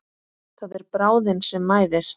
Það er bráðin sem mæðist.